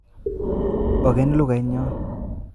Ogen lugait nyon